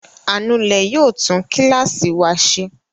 Anulẹ̀ yóò tún kíláàsì wa ṣe.